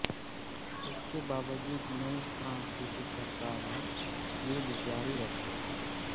इसके बावजूद नयी फ्रांसीसी सरकार ने युद्ध जारी रखा